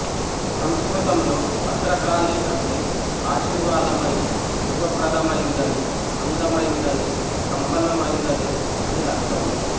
సంస్కృతంలో భద్రకాళి అంటే ఆశీర్వాదమనీ శుభప్రదమైందనీ అందమైందనీ సంపన్నమైందనీ అని అర్థం